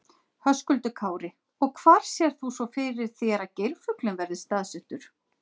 Höskuldur Kári: Og hvar sérð þú svo fyrir þér að geirfuglinn verði staðsettur?